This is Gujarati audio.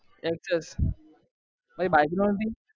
તારી બાજુ માં નથી